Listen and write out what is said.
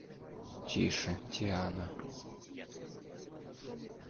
тише тиана